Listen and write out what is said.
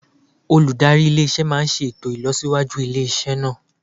Olùdarí ilé iṣẹ́ máa ṣe ètò ìlọsíwájú ilé iṣẹ́ náà.